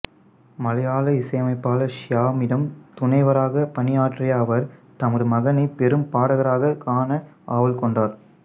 மலையாள இசையமைப்பாளர் சியாமிடம் துணைவராகப் பணியாற்றிய அவர் தமது மகனை பெரும் பாடகராகக் காண ஆவல் கொண்டார்